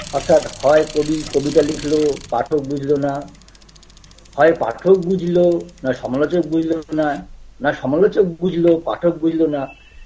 অর্থাৎ হয় কবি কবিতা লিখল পাঠক বুঝলো না হয় পাঠক বুঝলো নয় সমালোচক বুঝলো না না সমালোচক বুঝলো পাঠক বুঝলো না